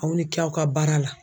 Aw ni cɛ aw ka baara la.